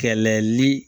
Kɛlɛli